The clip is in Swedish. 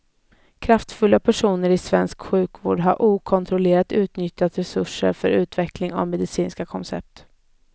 Kraftfulla personer i svensk sjukvård har okontrollerat utnyttjat resurser för utveckling av medicinska koncept.